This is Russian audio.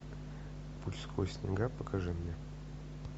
путь сквозь снега покажи мне